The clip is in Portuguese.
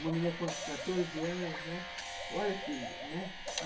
Uma menina com quatorze anos, né? Olha que, né